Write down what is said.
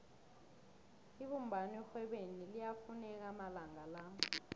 ibumbano erhwebeni liyafuneka amalanga la